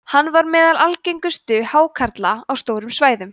hann var meðal algengustu hákarla á stórum svæðum